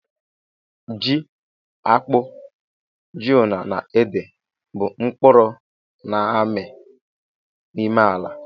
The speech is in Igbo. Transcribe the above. Ji, akpu, ji ńnú na ede, bu mkpuru na-ami n'ime ala